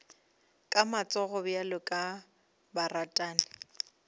ka matsogo bjalo ka baratani